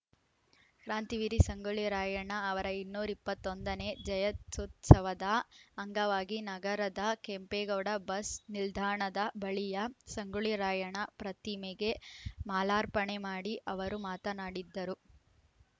ಕ್ರಾಂತಿವೀರಿ ಸಂಗೊಳ್ಳಿ ರಾಯಣ್ಣ ಅವರ ಇನ್ನೂರ ಇಪ್ಪತ್ತ್ ಒಂದ ನೇ ಜಯಂತ್ಯುತ್ಸವದ ಅಂಗವಾಗಿ ನಗರದ ಕೆಂಪೇಗೌಡ ಬಸ್‌ ನಿಲ್ದಾಣದ ಬಳಿಯ ಸಂಗೊಳ್ಳಿ ರಾಯಣ್ಣ ಪ್ರತಿಮೆಗೆ ಮಾಲಾರ್ಪಣೆ ಮಾಡಿ ಅವರು ಮಾತನಾಡಿದ್ದ ರು